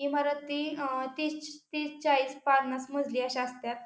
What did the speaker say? इमारती अ तीस तीस चाळीस पन्नास मजली अशा असत्यात.